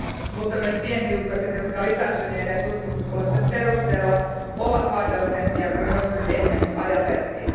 Mutta myös pienhiukkaset, jotka lisääntyneiden tutkimustulosten perusteella ovat haitallisempia kuin joskus ennen ajateltiin.